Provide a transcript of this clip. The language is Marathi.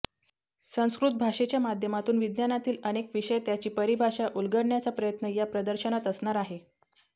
संस्कृत भाषेच्या माध्यमातून विज्ञानातील अनेक विषय त्याची परिभाषा उलगडण्याचा प्रयत्न या प्रदर्शनात असणार आहे